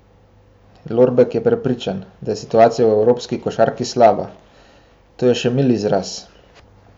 Lorbek je prepričan, da je situacija v evropski košarki slaba: 'To je še mil izraz.